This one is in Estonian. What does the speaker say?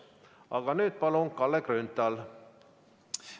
Aga nüüd, palun, Kalle Grünthal!